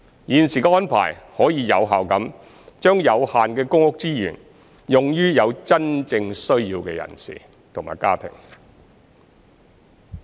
現時的安排可以有效地將有限的公屋資源用於有真正需要的人士及家庭。